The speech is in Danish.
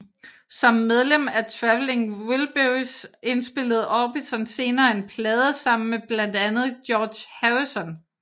Som medlem af Traveling Wilburys indspillede Orbison senere en plade sammen med blandt andre George Harrison